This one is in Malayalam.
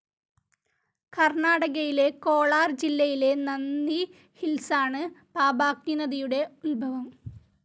കർണാടകയിലെ കോളാർ ജില്ലയിലെ നന്ദി ഹിൽസ്ലാണ് പാപാഗ്നി നദിയുടെ ഉത്ഭവം.